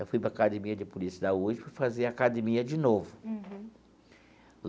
Eu fui para a Academia de Polícia da USP fazer academia de novo.